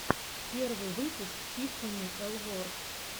первый выпуск тиффани элворд